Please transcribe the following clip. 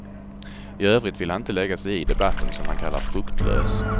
I övrigt vill han inte lägga sig i debatten, som han kallar fruktlös.